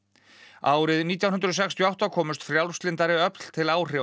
árið nítján hundruð sextíu og átta komust frjálslyndari öfl til áhrifa